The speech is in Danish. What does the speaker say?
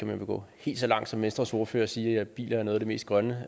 vil gå helt så langt som venstres ordfører og sige at biler er noget af det mest grønne